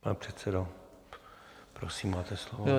Pane předsedo, prosím, máte slovo.